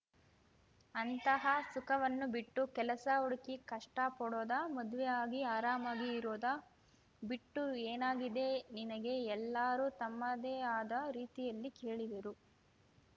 ಅಂತಹ ಸುಖವನ್ನು ಬಿಟ್ಟು ಕೆಲಸ ಹುಡುಕಿ ಕಷ್ಟಪಡೋದಾ ಮದ್ವೆ ಆಗಿ ಆರಾಮಾಗಿ ಇರೋದ ಬಿಟ್ಟು ಏನಾಗಿದೆ ನಿನಗೆ ಎಲ್ಲರೂ ತಮ್ಮದೇ ಆದ ರೀತಿಯಲ್ಲಿ ಕೇಳಿದರು